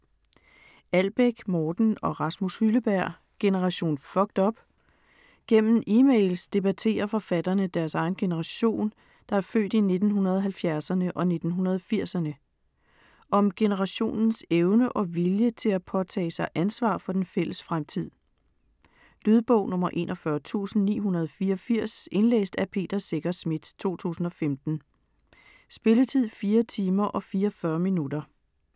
Albæk, Morten og Rasmus Hylleberg: Generation fucked up? Gennem emails debatterer forfatterne deres egen generation, der er født i 1970'erne og 1980'erne. Om generationens evne og vilje til at påtage sig ansvar for den fælles fremtid. Lydbog 41984 Indlæst af Peter Secher Schmidt, 2015. Spilletid: 4 timer, 44 minutter.